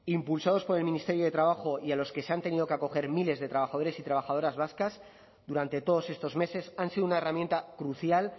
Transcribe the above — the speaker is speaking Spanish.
impulsados por el ministerio de trabajo y a los que se han tenido que acoger miles de trabajadores y trabajadoras vascas durante todos estos meses han sido una herramienta crucial